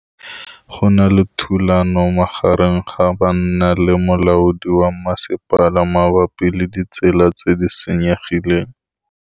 Go na le thulanô magareng ga banna le molaodi wa masepala mabapi le ditsela tse di senyegileng.